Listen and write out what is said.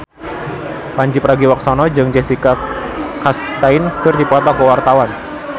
Pandji Pragiwaksono jeung Jessica Chastain keur dipoto ku wartawan